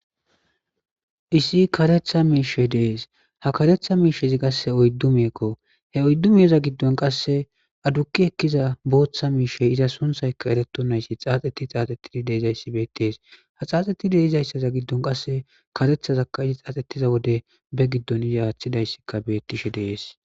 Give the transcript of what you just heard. Issi karetha miishe dees ha karetha miishezi qasshe oyddu miekko he oyddu miyeza giddon qasse adukki ekkiza booththa miishey iza sunthaykka ereto nayssi xaaxeti xaaxettidi deezayssi beettees ha xaaxxetide izayssaza giddon qasse karethazakka izi xaaxxettiza wode be giddon iza aaththidayssikka beettishe dees.